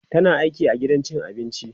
tana aiki a gidan cin abinci